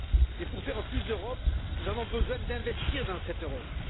Mais pour faire plus d'Europe, nous avons besoin d'investir dans cette Europe.